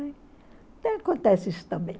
Até acontece isso também.